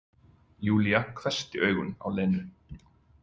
Júlía hvessti augun á Lenu.